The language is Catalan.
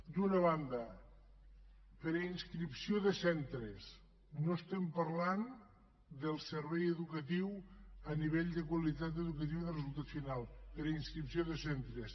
d’una banda per inscripció de centres no estem parlant del servei educatiu a nivell de qualitat educativa de resultat final per inscripció de centres